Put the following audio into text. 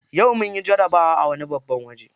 Yau munyi jarabawa a wani babban waje.